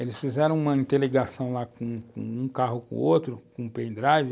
Eles fizeram uma interligação lá com com um carro, com outro, com pendrive,